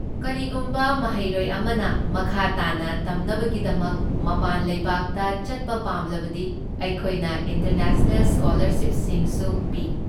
ꯀꯔꯤꯒꯨꯝꯕ ꯃꯍꯩꯔꯣꯏ ꯑꯃꯅ ꯃꯈꯥ ꯇꯥꯅ ꯇꯝꯅꯕꯒꯤꯗꯃꯛ ꯃꯄꯥꯟ ꯂꯩꯕꯥꯛꯇ ꯆꯠꯄ ꯄꯥꯝꯂꯕꯗꯤ ꯑꯩꯈꯣꯏꯅ ꯏꯟꯇꯔꯅꯦꯁꯅꯦꯜ ꯁ꯭ꯀꯣꯂꯔꯁꯤꯞꯁꯤꯡꯁꯨ ꯄꯤ꯫